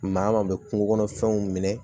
Maa min bɛ kungo kɔnɔ fɛnw minɛ